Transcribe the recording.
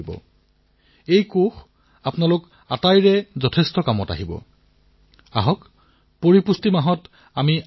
এক ভাৰতীয় কৃষি কোষ প্ৰস্তুত কৰা হৈছে ইয়াত এখন জিলাত কি কি ফচলৰ উৎপাদন হয় সেইসমূহৰ পুষ্টিগত মূল্য কেনে এই সকলোবোৰ তথ্য থাকিব